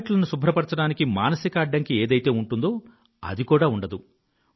టాయిలెట్లను శుభ్రపరచడానికి మానసిక అడ్డంకి ఏదైతే ఉంటుందో అది కూడా ఉండదు